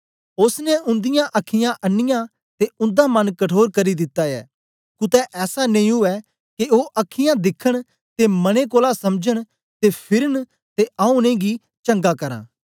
ओसने उंदीयां अखीयाँ अन्नीयां ते उंदा मन कठोर करी दिता ऐ कुतै ऐसा नेई उवै के ओ अखीयाँ दिखन ते मने कोलां समझन ते फिरन ते आऊँ उनेंगी चंगा करां